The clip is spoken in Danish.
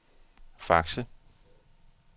Fakse